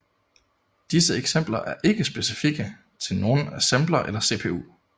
Disse eksempler er ikke specifikke til nogen assembler eller CPU